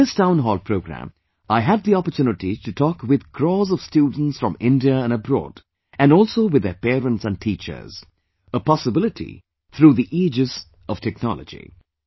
In this Town Hall programme, I had the opportunity to talk with crores of students from India and abroad, and also with their parents and teachers; a possibility through the aegis of technology